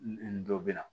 Nin dɔ bɛ na